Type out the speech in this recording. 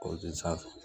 sanfɛ